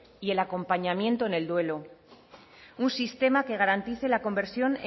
y el acompañamiento en el duelo un sistema que garantice la conversión